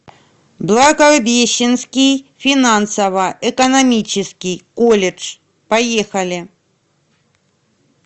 благовещенский финансово экономический колледж поехали